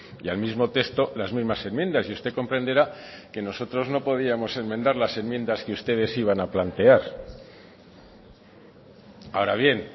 y al mismo texto las mismas enmiendas y usted comprenderá que nosotros no podíamos enmendar las enmiendas que ustedes iban a plantear ahora bien